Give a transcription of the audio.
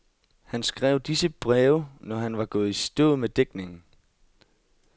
Han skrev disse breve, når han var gået i stå med digtningen.